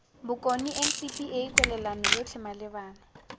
bokone ncpa kwalelano yotlhe malebana